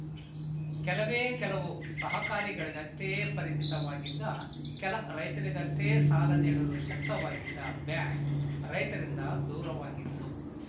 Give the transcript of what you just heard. ಕೆಲವೇ ಕೆಲವು ಸಹಕಾರಿಗಳಿಗಷ್ಟೇ ಪರಿಚಿತವಾಗಿದ್ದ ಕೆಲ ರೈತರಿಗಷ್ಟೇ ಸಾಲ ನೀಡಲು ಶಕ್ತವಾಗಿದ್ದ ಬ್ಯಾಂಕ್‌ ರೈತರಿಂದ ದೂರವಾಗಿತ್ತು